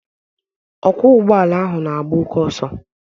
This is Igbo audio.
Ọkwo ụgbọala ahụ n'agba oké oso